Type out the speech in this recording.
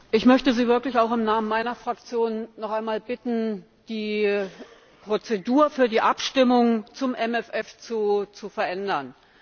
Ich möchte Sie wirklich auch im Namen meiner Fraktion noch einmal bitten, die Prozedur für die Abstimmung zum MFF zu verändern.